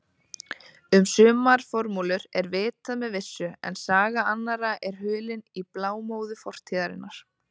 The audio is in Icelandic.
Um sumar formúlur er vitað með vissu en saga annarra er hulin í blámóðu fortíðarinnar.